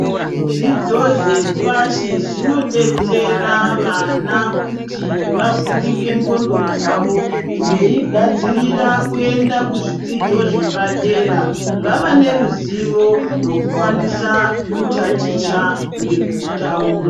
Zvidzidzo zvinobetsera vana kuti vavhurike ndxondo dzavo veigadzirira kuenda kuzvidzidzo zvepadera vava neruzivo rwekukwanisa kutaticha ngekutaura .